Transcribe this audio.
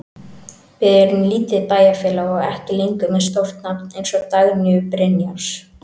Við erum lítið bæjarfélag og ekki lengur með stórt nafn eins og Dagnýju Brynjars.